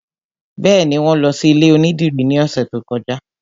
Bẹ́ẹ̀ni, wọn lọ sí ilé onídìrí ní ọ̀sẹ̀ tó kọjá